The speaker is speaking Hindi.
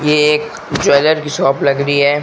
ये एक ज्वेलर की शॉप लग रही है।